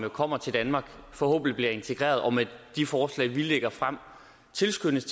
og kommer til danmark forhåbentlig bliver integreret og med de forslag vi lægger frem tilskyndes